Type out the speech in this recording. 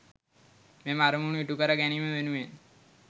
මෙම අරමුණු ඉටු කර ගැනීම වෙනුවෙන්